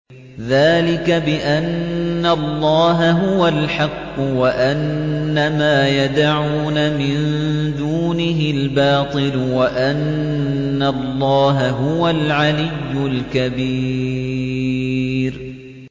ذَٰلِكَ بِأَنَّ اللَّهَ هُوَ الْحَقُّ وَأَنَّ مَا يَدْعُونَ مِن دُونِهِ الْبَاطِلُ وَأَنَّ اللَّهَ هُوَ الْعَلِيُّ الْكَبِيرُ